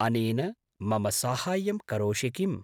अनेन मम साहाय्यं करोषि किम्?